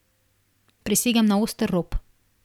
Prisegam na oster rob.